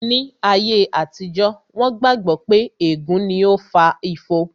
Ní ayé àtijó, wón gbà gbọ́ pé ègún ni ó fa ifo